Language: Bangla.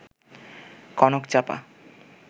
কনকচাপা